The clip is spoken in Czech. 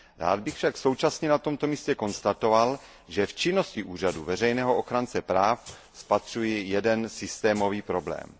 Rád bych však současně na tomto místě konstatoval, že v činnosti úřadu veřejného ochránce práv spatřuji jeden systémový problém.